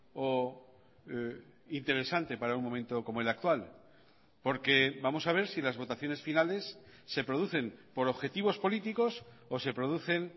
o interesante para un momento como el actual porque vamos a ver si las votaciones finales se producen por objetivos políticos o se producen